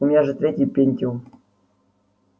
у меня же третий пентиум